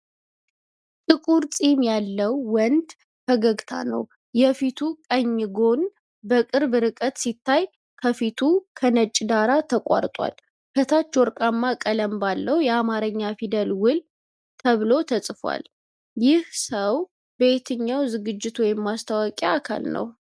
ጥቁር ፂም ያለው ወንድ ፈገግታ ነው። የፊቱ ቀኝ ጎን በቅርብ ርቀት ሲታይ ከፊሉ ከነጭ ዳራ ተቆርጧል። ከታች ወርቃማ ቀለም ባለው የአማርኛ ፊደል ውል ተብሎ ተጽፏል። ይህ ሰው የየትኛው ዝግጅት ወይም ማስታወቂያ አካል ነው?